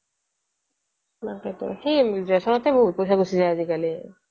তাকেই তো সি ৰেচনতে বহুত পইচা গুচি যায় আজি কালি